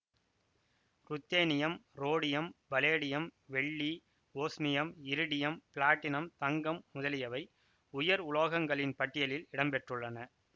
ruthenium rhodium palladium வெள்ளி osmium iridium platinum தங்கம் முதலியவை உயர் உலோகங்களின் பட்டியலில் இடம்பெற்றுள்ளன